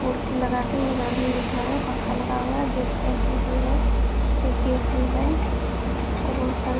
कुर्सी लगा के इधर भी बैठा है पंखा लगा हुआ है गैस टंकी भी है एक गैस भी है और सारे --